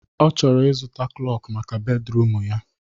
Ọ chọrọ ịzụta klọkụ maka bedruum ya